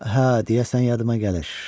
Hə, deyəsən yadıma gəlir.